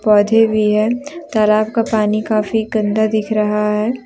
पौधे भी हैं तालाब का पानी काफ़ी गन्दा दिख रहा है।